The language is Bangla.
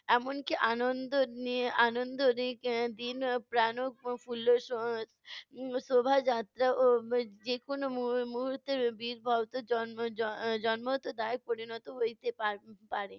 এমনকি আনন্দ নিয়ে আনন্দ শোভাযাত্রাও যেকোনো মু~ মুহুর্তে পরিণত হইতে পার~ পারে।